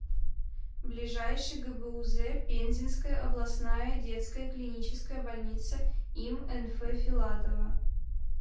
ближайший гбуз пензенская областная детская клиническая больница им нф филатова